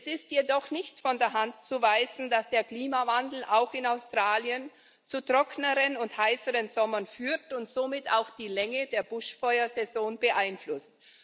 Es ist jedoch nicht von der Hand zu weisen, dass der Klimawandel auch in Australien zu trockeneren und heißeren Sommern führt und somit auch die Länge der Buschfeuersaison beeinflusst.